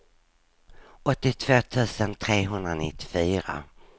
åttiotvå tusen trehundranittiofyra